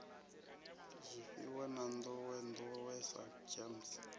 zwifhiwa ya nḓowenḓowe ya gems